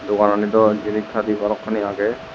degananit do jinis padi balokkani agey.